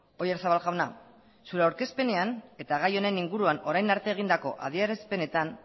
oyarzabal jauna zure aurkezpenean eta gai honen inguruan orain arte egindako adierazpenetan